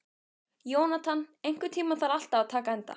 Jónatan, einhvern tímann þarf allt að taka enda.